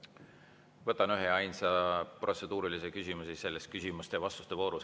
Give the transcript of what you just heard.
Võtan ühe ja ainsa protseduurilise küsimuse selles küsimuste ja vastuste voorus.